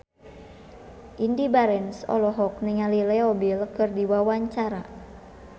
Indy Barens olohok ningali Leo Bill keur diwawancara